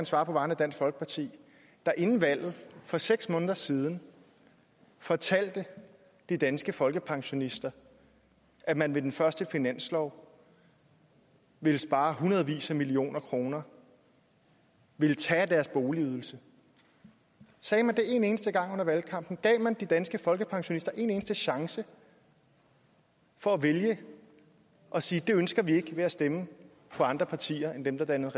svare på vegne af dansk folkeparti der inden valget for seks måneder siden fortalte de danske folkepensionister at man ved den første finanslov ville spare i hundredvis af millioner kroner ville tage af deres boligydelse sagde man det en eneste gang under valgkampen gav man de danske folkepensionister en eneste chance for at vælge at sige at det ønskede de ikke ved at stemme på andre partier end dem der dannede